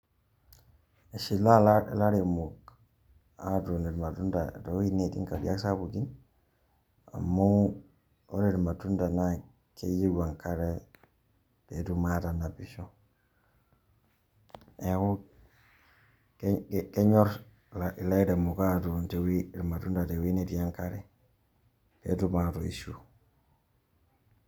Eshilaa ilaremok atuun irmatunda to wueitin netii nkariak sapukin amu ore irmatunda keyeu enkare peetum atanapisho. Neeku kenyor ilairemok aatun irmatunda tewuei netii enkare pee etum atoisho.